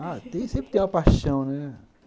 Ah, sempre tenho uma paixão, né?